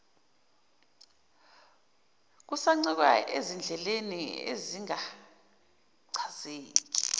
kusancike ezindleleni ezingachazeki